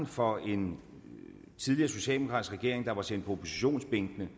for en tidligere socialdemokratisk regering der var sendt på oppositionsbænken